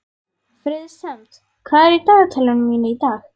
Friðsemd, hvað er í dagatalinu mínu í dag?